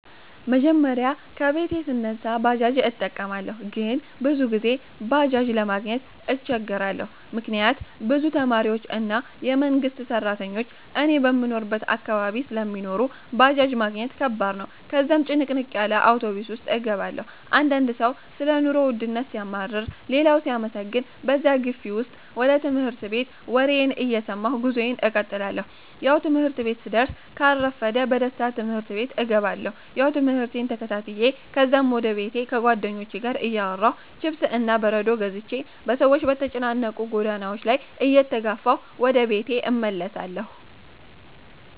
መጀመሪያ ከቤቴ ስነሳ ባጃጅ እጠቀማለሁ ግን ብዙ ጊዜ ባጄጅ ለማግኘት እቸገራለሁ፤ ምክንያት ብዙ ተማሪዎች እና የመንግሰት ስራተኞች እኔ በምኖርበት አካባቢ ስለሚኖሩ ባጃጅ ማግኘት ከባድ ነው፤ ከዛም ጭንቅንቅ ያለ አውቶብስ ውስጥ እገባለሁ። አንዳንድ ሰው ሰለ ኑሮ ወድነት ሲያማርር ሌላው ሲያመሰግን በዛ ግፊ ውስጥ ወደ ትምህርት ቤቴ ወሬየን እየሰማሁ ጉዞየን እቀጥላለሁ። ያው ትምህርት ቤቴ ስደስ ካልረፈደ በደስታ ትምህርት ቤቴ እገባለሁ። ያው ትምህርቴን ተከታትዮ ከዛም ወደ ቤቴ ከጉዋደኞቹቼ ጋር እያወራሁ፥ ችፕስ እና በረዶ ገዝቼ በሰዎች በተጨናነቁ ጎዳናዎች ላይ እየተጋፋሁ ወደ ቤቴ እመለሳለሁ